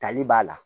Tali b'a la